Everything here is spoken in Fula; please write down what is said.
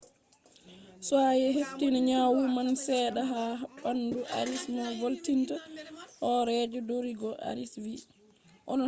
be hefti nyawu man sedda ha bandu arias mo volinta horeejo rodrigo arias vi